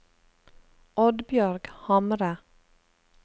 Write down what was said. Oddbjørg Hamre